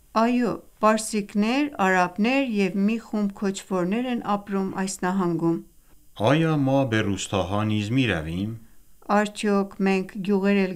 Այո, պարսիկներ, արաբներ և մի խումբ քոչվորներ են ապրում այս նահանգում: Արմեն․Արդյոք մենք գյուղեր էլ